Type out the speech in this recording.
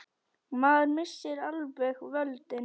Maður missir alveg völdin.